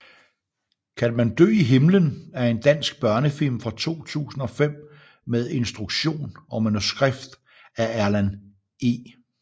Kan man dø i himlen er en dansk børnefilm fra 2005 med instruktion og manuskript af Erlend E